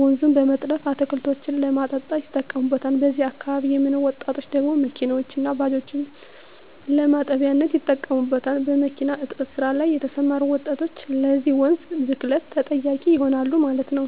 ወንዙን በመጥለፍ አትክልቶችን ለማጠጣት ይጠቀሙታል በዚህ አካባቢ የሚኖሩ ወጣቶች ደግሞ መኪኖችን እና ባጃጆችን ለማጠቢያነት ይጠቀሙበታል። በሚኪና እጥበት ስራ ላይ የተሰማሩ ወጣቶች ለዚህ ወንዝ ብክለት ተጠያቂ ይሆናሉ ማለት ነው